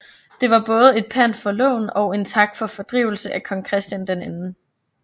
Det var både et pant for lån og en tak for fordrivelse af Kong Christian 2